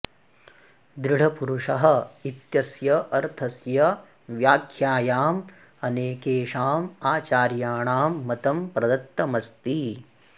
दृढपुरुषः इत्यस्य अर्थस्य व्याख्यायाम् अनेकेषाम् आचार्याणां मतं प्रदत्तमस्ति